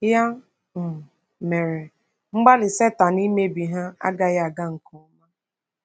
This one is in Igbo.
Ya um mere, mgbalị Satan imebi ha agaghị aga nke ọma.